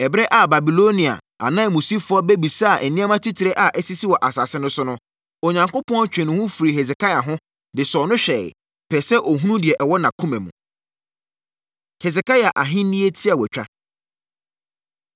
Ɛberɛ a Babilonia ananmusifoɔ bɛbisaa nneɛma titire a asisi wɔ asase no so no, Onyankopɔn twee ne ho firi Hesekia ho, de sɔɔ no hwɛeɛ, pɛɛ sɛ ɔhunu deɛ ɛwɔ nʼakoma mu. Hesekia Ahennie Tiawatwa